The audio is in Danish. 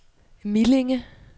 Millinge